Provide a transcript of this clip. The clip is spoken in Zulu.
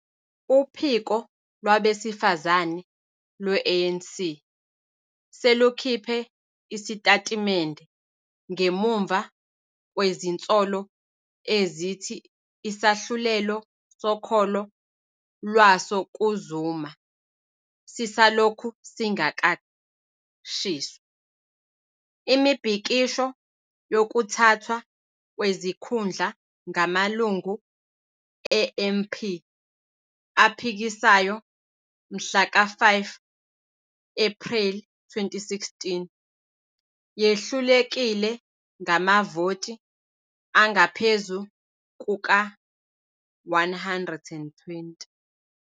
Uphiko lwabesifazane lwe-ANC selukhiphe isitatimende ngemuva kwezinsolo ezithi isahlulelo sokholo lwaso kuZuma "sisalokhu singakashiswa". Imibhikisho yokuthathwa kwezikhundla ngamalungu e-MP aphikisayo mhlaka 5 Ephreli 2016 yehlulekile ngamavoti angaphezu kuka-120.